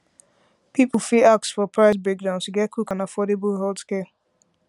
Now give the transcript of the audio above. people fit ask for price breakdown to get quick and affordable healthcare